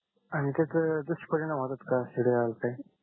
आणखि काही दुष्परिणाम का सिडयाल ते